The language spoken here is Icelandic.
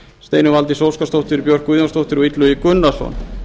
steinunn valdís óskarsdóttir björk guðjónsdóttir og illugi gunnarsson